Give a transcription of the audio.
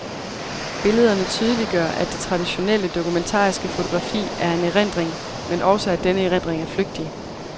Billederne tydeliggør, at det traditionelle, dokumentariske fotografi er en erindring, men også at denne erindring er flygtig.